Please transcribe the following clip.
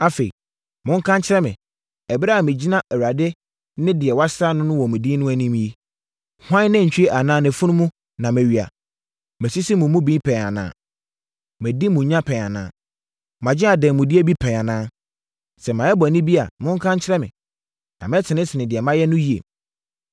Afei, monka nkyerɛ me, ɛberɛ a megyina Awurade ne deɛ wɔasra no wɔ ne din mu anim yi, hwan nantwie anaa nʼafunumu na mawia? Masisi mo mu bi pɛn anaa? Madi mo nya pɛn anaa? Magye adanmudeɛ bi pɛn anaa? Sɛ mayɛ bɔne bi a, monka nkyerɛ me, na mɛtenetene deɛ manyɛ no yie.”